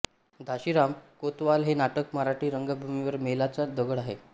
घाशीराम कोतवाल हे नाटक मराठी रंगभूमीवरील मैलाचा दगड आहे